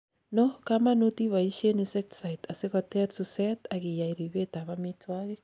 no kamanut iboishen insecticides asikoter suset, ak iyai ribet ab omitwogik